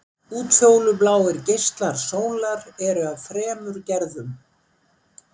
Útfjólubláir geislar sólar eru af þremur gerðum.